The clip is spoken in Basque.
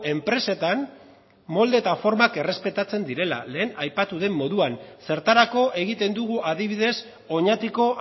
enpresetan molde eta formak errespetatzen direla lehen aipatu den moduan zertarako egiten dugu adibidez oñatiko